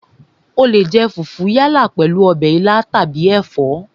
O leè jẹ fùfú yálà pèlú ọbẹ̀ ilá àbí ẹ̀fọ́